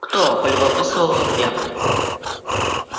кто полюбопытствовала я